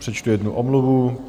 Přečtu jednu omluvu.